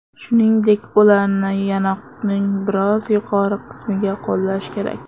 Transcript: Shuningdek, ularni yanoqning biroz yuqori qismiga qo‘llash kerak.